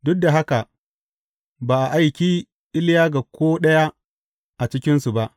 Duk da haka, ba a aiki Iliya ga ko ɗaya a cikinsu ba.